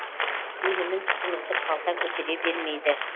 өнімін тұтынуды қалта көтере бермейді